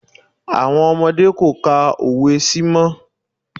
Àwọn ọmọdé kò ka òwe sí mọ́.